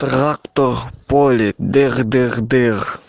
трактор в поле дыр дыр дыр